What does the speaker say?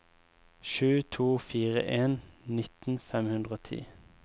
sju to fire en nitten fem hundre og ti